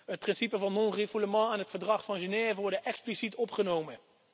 Het principe van non-refoulement en het Verdrag van Genève worden expliciet opgenomen.